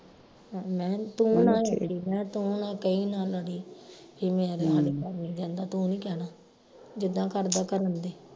ਮਹਿ ਤੂੰ ਨਾ ਮੈਂ ਤੂੰ ਨਾ ਕਈ ਨਾ ਲੜੀ ਕਿ ਮੇਰੇ ਸਾਡੇ ਘਰ ਨਹੀਂ ਜਾਂਦਾ ਤੂੰ ਨੀ ਕਹਿਣਾ ਜਿੱਦਾਂ ਕਰਦਾ ਕਰਨ ਦੇ